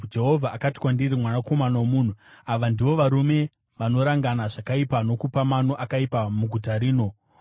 Jehovha akati kwandiri, “Mwanakomana womunhu, ava ndivo varume vanorangana zvakaipa nokupa mano akaipa muguta rino.